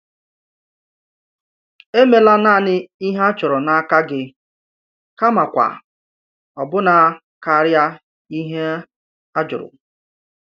Èmela naanị ìhè a chọrọ n'aka gị kamakwa ọbụ̀na karịa ìhè a jụrụ.